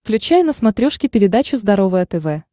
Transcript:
включай на смотрешке передачу здоровое тв